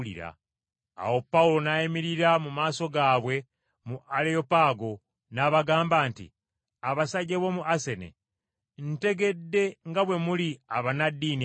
Awo Pawulo n’ayimirira mu maaso gaabwe mu Aleyopaago, n’abagamba nti, “Abasajja b’omu Asene! Ntegedde nga bwe muli abannaddiini ennyo;